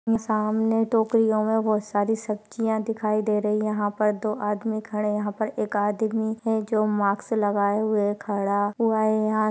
सामने टोकरियों में बहुत सारी सब्जिया दिखाई दे रही। यहाँ पर दो आदमी खड़े है। यहाँ पर एक आदमी है जो मास्क लगाए हुए खड़ा हुआ है। यहाँ--